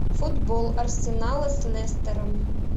футбол арсенала с лестером